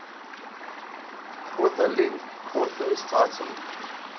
authorlink coauthors title